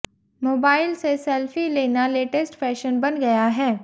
mobile से selfie लेना latest fashion बन गया है